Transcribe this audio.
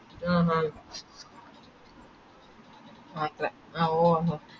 ആഹ് ആഹ് ഓ ഓ